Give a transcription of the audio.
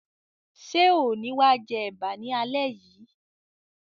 Ṣe o ni wa jẹ ẹ̀bá ni alẹ yìí?